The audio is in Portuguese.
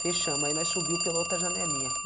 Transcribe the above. Fechamos, aí nós subiu pela outra janelinha.